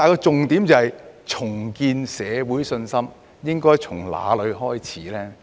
重建社會信心應從哪裏開始呢？